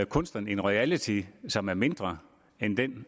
kunstneren en royalty som er mindre end den